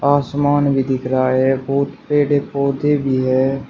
आसमान भी दिख रहा है बहुत पेड़ पौधे भी है।